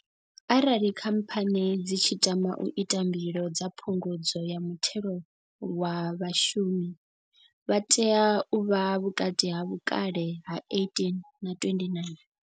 Arali khamphani dzi tshi tama u ita mbilo dza phungudzo ya muthelo wa vhashumi, vhaswa vha tea u vha vhukati ha vhukale ha 18 na 29.